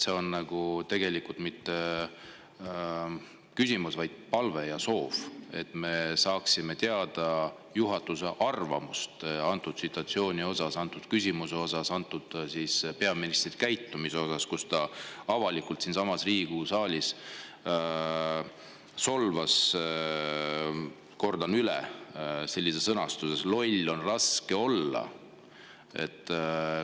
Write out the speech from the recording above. See ei ole tegelikult mitte küsimus, vaid palve või soov, et me saaksime teada juhatuse arvamuse selle situatsiooni või küsimuse kohta, peaministri käitumist, kus ta avalikult siinsamas Riigikogu saalis solvas, sõnastust: "Loll on raske olla.